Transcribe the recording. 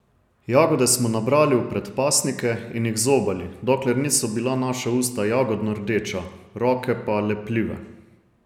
Jagode smo nabrali v predpasnike in jih zobali, dokler niso bila naša usta jagodno rdeča, roke pa lepljive.